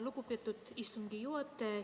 Lugupeetud istungi juhataja!